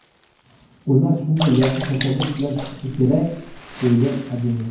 Ular shunday yaxshi tashabbus bilan chiqishi kerak”, deydi Azimov.